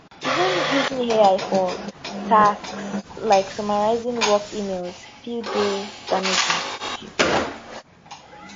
even using ai for tasks like summarising work emails fit dey damaging she tok